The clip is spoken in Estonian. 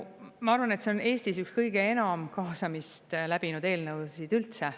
Ma arvan, et see on Eestis üks kõige enam kaasamist läbinud eelnõusid üldse.